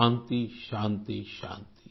शान्ति शान्ति